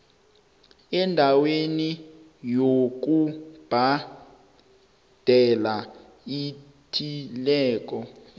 endaweni yokubhadela ethileko